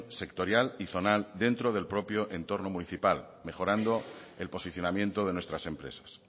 sectorial y zonal dentro del propio entorno municipal mejorando el posicionamiento de nuestras empresas